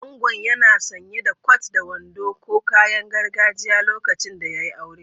Angon yana sanye da kwat da wando ko kayan gargajiya lokacin da ya yi aure.